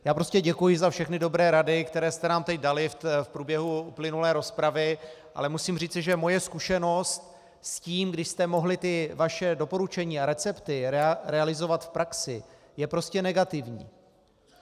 Já prostě děkuji za všechny dobré rady, které jste nám teď dali v průběhu uplynulé rozpravy, ale musím říci, že moje zkušenost s tím, když jste mohli ta vaše doporučení a recepty realizovat v praxi, je prostě negativní.